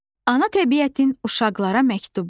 Ana təbiətin uşaqlara məktubu.